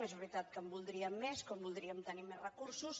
és veritat que en voldríem més com voldríem tenir més recursos